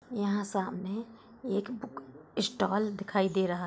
यहाँ सामने एक बुक स्टॉल दिखाई दे रहा है।